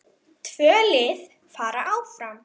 Tvö lið fara áfram.